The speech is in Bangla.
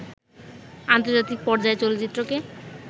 আন্তর্জাতিক পর্যায়ে চলচ্চিত্রকে